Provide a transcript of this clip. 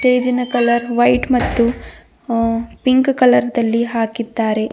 Stage in colour white ಮತ್ತು ಅ pink colour ದಲ್ಲಿ ಹಾಕಿದ್ದಾರೆ.